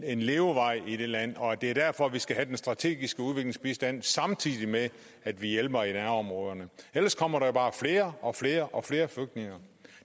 en levevej i det land det er derfor vi skal have den strategiske udviklingsbistand samtidig med at vi hjælper i nærområderne ellers kommer der bare flere og flere og flere flygtninge